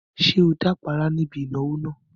Ṣé o dápàárá ní ibi ìnáwó náà?